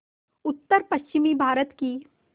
उत्तरपश्चिमी भारत की